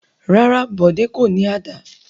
Rárá, Bọ̀dé kò ní àdá.